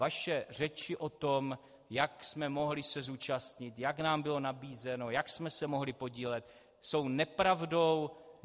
Vaše řeči o tom, jak jsme se mohli zúčastnit, jak nám bylo nabízeno, jak jsme se mohli podílet, jsou nepravdou.